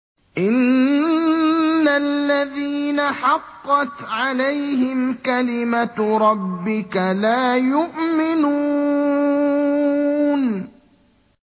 إِنَّ الَّذِينَ حَقَّتْ عَلَيْهِمْ كَلِمَتُ رَبِّكَ لَا يُؤْمِنُونَ